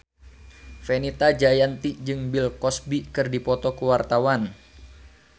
Fenita Jayanti jeung Bill Cosby keur dipoto ku wartawan